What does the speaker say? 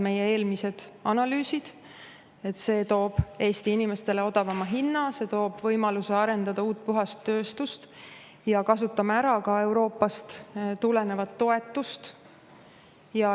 Meie eelmised analüüsid näitavad, et see toob Eesti inimestele odavama hinna, see toob võimaluse arendada uut, puhast tööstust ja kasutada ära ka Euroopast tulevat toetust.